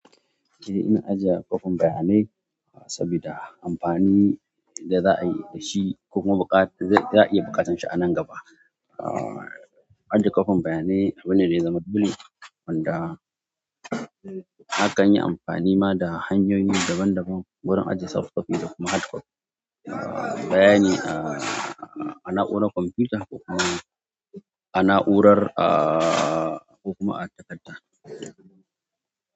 Eh, ina ajiye kwafan bayanai sabida amfani da za a yi da shi kuma baƙar, za ya iya buƙatar shi a nan gaba. Ajiye kwafan bayanai abu ne da ya zama duli wanda akan yi amfani ma da hanyoyi daban daban wurin ajiye soft copy da kuma hard copy bayani a na'uwaran kwamfuta kuma ana urar a kuma a katanta.